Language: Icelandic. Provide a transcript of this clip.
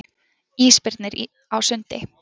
Ísbirnir á sundi.